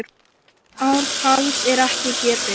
Ártals er ekki getið.